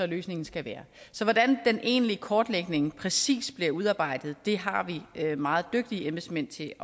løsningen skal være så hvordan den egentlige kortlægning præcis bliver udarbejdet har vi meget dygtige embedsmænd til